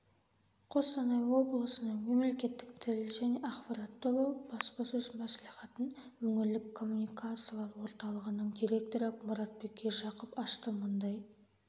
қостанай облысының мемлекеттік тіл және ақпарат тобы баспасөз-мәслихатын өңірлік коммуникациялар орталығының директоры мұратбек ержақып ашты мұндай